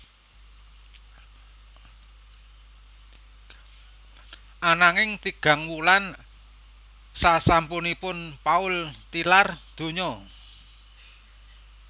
Ananging tigang wulan sasampunipun Paul tilar donya